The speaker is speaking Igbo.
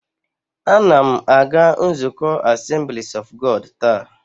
A na m aga nzukọ Assemblies of God taa